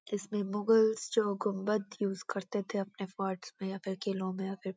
जिसमें मुगल जो गुम्‍बद यूज करते थे अपने फोर्टस में या फिर किलों में या फिर --